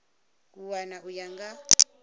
a wana u ya nga